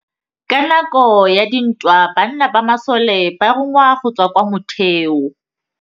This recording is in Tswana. Ka nakô ya dintwa banna ba masole ba rongwa go tswa kwa mothêô.